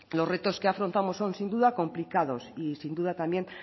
los retos que afrontamos son sin duda complicados y sin duda también